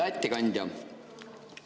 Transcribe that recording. Hea ettekandja!